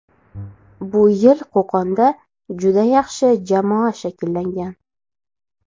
Bu yil Qo‘qonda juda yaxshi jamoa shakllangan.